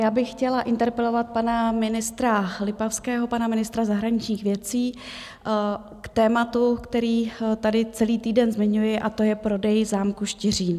Já bych chtěla interpelovat pana ministra Lipavského, pana ministra zahraničních věcí, k tématu, které tady celý týden zmiňuji, a to je prodej zámku Štiřín.